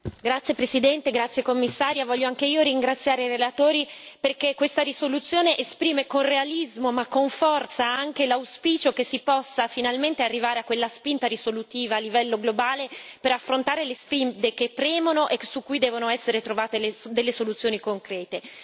Signor presidente, onorevoli colleghi, signora Commissario, voglio anche io ringraziare i relatori perché questa risoluzione esprime con realismo, ma anche con forza, l'auspicio che si possa finalmente arrivare a quella spinta risolutiva a livello globale, per affrontare le sfide che premono e che su cui devono essere trovate delle soluzioni concrete.